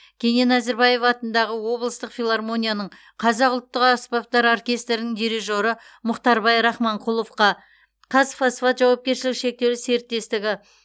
кенен әзірбаев атындағы облыстық филармонияның қазақ ұлттық аспаптар оркестрінің дирижері мұхтарбай рахманқұловқа қазфосфат жауапкершілігі шектеулі серіктестігі